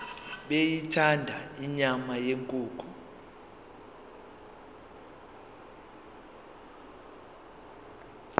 beyithanda inyama yenkukhu